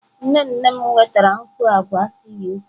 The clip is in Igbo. Nne nne m wetara mkpọ agwa si UK.